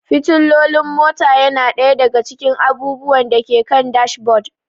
Fitilolin mota yana ɗaya daga cikin abubuwan da ke kan dashboard.